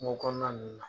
Kungo kɔnɔna ninnu na